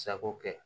Sago kɛ